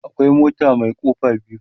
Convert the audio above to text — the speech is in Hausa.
akwai mota Mai kofa biyu